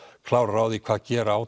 klárir hvað gera á